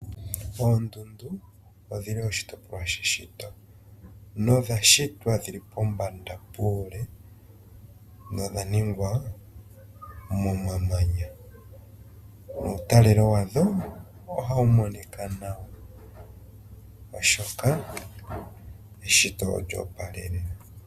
Oondundu odhili oshitopolwa shuushitwe. Odha shitwa dhili pombanda puule, na odha mewa momamanya. Omutalelo wadho, ohawu monika nawa oshoka, eshito olyoopalaa noonkondo.